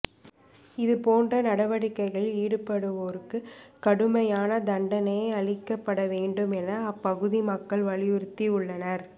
இதுபோன்ற நடவடிக்கைகளில் ஈடுபடுவோருக்கு கடுமையான தண்டனை அளிக்கப்பட வேண்டும் என அப்பகுதி மக்கள் வலியுறுத்தி உள்ளனர்